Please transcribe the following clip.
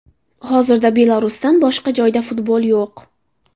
Hozirda Belarusdan boshqa joyda futbol yo‘q.